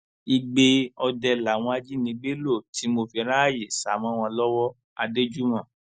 igbe ọdẹ làwọn ajínigbé ló ti mo fi ráàyè sá mọ wọn lọwọ adéjúmọ